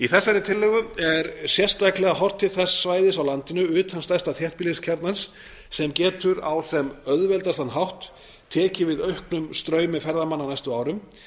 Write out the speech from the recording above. þessari tillögu er sérstaklega horft til þess svæðis á landinu utan stærsta þéttbýliskjarnans sem getur á einna auðveldastan hátt tekið við auknum straumi ferðamanna á næstu árum